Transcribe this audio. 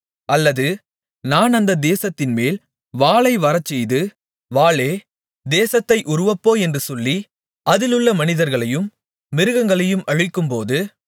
அல்லது நான் அந்த தேசத்தின்மேல் வாளை வரச்செய்து வாளே தேசத்தை உருவப்போ என்று சொல்லி அதிலுள்ள மனிதர்களையும் மிருகங்களையும் அழிக்கும்போது